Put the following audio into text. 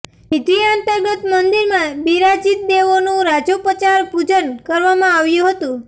વિધિ અંતર્ગત મંદિરમાં બિરાજીત દેવોનું રાજોપચાર પૂજન કરવામાં આવ્યું હતું